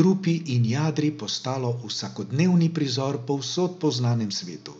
trupi in jadri postalo vsakodnevni prizor povsod po znanem svetu.